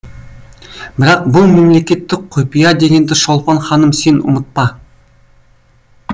бірақ бұл мемлекеттік құпия дегенді шолпан ханым сен ұмытпа